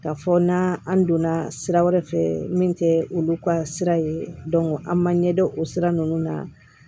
K'a fɔ na an donna sira wɛrɛ fɛ min kɛ olu ka sira ye an man ɲɛdɔn o sira nunnu na